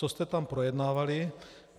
Co jste tam projednávali.